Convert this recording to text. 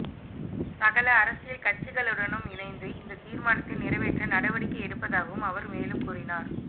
சகல அரசியல் கட்சிகளுடனும் இணைந்து இந்த தீர்மானத்தை நிறைவேற்ற நடவடிக்கை எடுப்பதாகவும் அவர் மேலும் கூறினார்